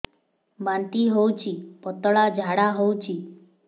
ବାନ୍ତି ହଉଚି ପତଳା ଝାଡା ହଉଚି